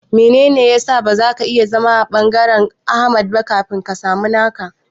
Menene ya sa ba zaka iya zama a ɓangaren Ahmad ba kafin ka samu naka?